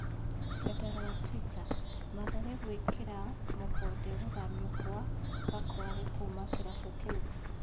(Rũrenda rwa twita) Mathare gwĩkĩra mukonde gũthamio kwa Gakware kuma kĩrabu kĩu.